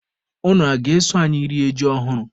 Unu a ga-eso anyị rie ji ọhụrụ?